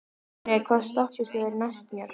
Sonný, hvaða stoppistöð er næst mér?